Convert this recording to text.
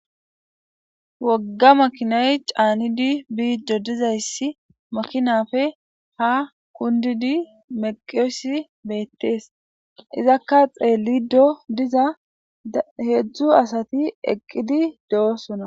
wogga makinay caanidi biido dizayssi makinafe ha kundidi meqiesi beettees izakka xeelido diza heedzdzu asati eqqidi de7osona